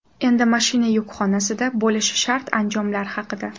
Endi mashina yukxonasida bo‘lishi shart anjomlar haqida.